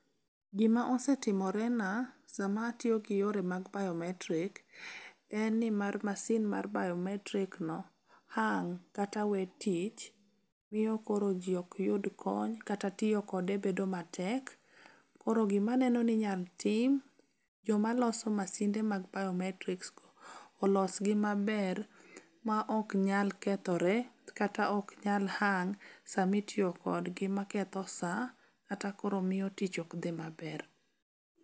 Gima osetimorena sama atiyo gi yore mag biometric, en ni mar masin mar biometricno hang' kata we tich, miyo koro ji ok yud kony kata tiyo kode bedo matek. Koro gimaneno ni inyal tim jomaloso masinde mag biometricsgo olosgi maber maok nyal kethore kata ok nyal hang' sama itiyo kodgi maketho sa kata koro miyo tich ok dhi maber.